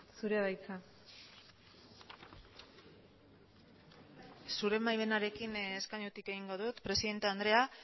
zurea da hitza zure baimenarekin eskainutik egingo dut presidente andrea